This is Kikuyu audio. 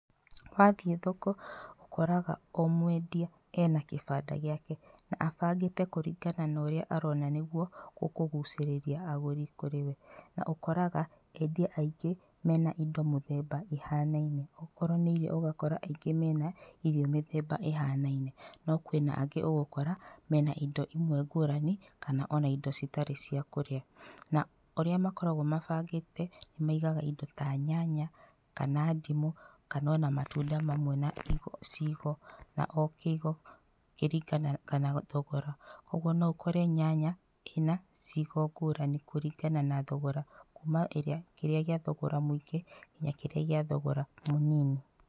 Wathiĩ thoko ũkoraga o mwendia ena kĩbanda gĩake, na abangĩte kũringana na ũrĩa arona nĩguo ũkũgucirĩria agũrĩ kũrĩwe. Na ũkoraga endia aingĩ mena indo mũthemba ĩhanaine. Okorwo nĩ irio ũgakora aingĩ mena irio mĩthemba ĩhanaine. No kwĩna angĩ ũgũkora mena indo imwe ngurani, kana indo citarĩ cia kũrĩa. Na ũrĩa makoragwo mabangĩte maigaga indo ta nyanya kana ndimũ, kana ona matunda mamwe na na icigo na o gicigo kĩringanaga kana thogora ũguo no ũkore nyanya ina icigo ngũrani kũringana na thogora, kuma kĩrĩa gĩa thogora mũingĩ nginya kĩrĩa gĩa thogora mũnini.